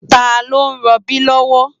Tá ló n ròbí lòwò?